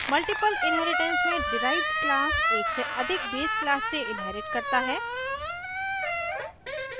multiple inheritance में derived class एक से अधिक base class से inherits करता है